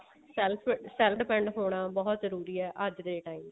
self self depend ਹੋਣਾ ਬਹੁਤ ਜਰੂਰੀ ਹੈ ਅੱਜ ਦੇ time ਵਿੱਚ